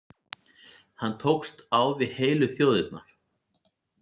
Hann tókst á við heilu þjóðirnar.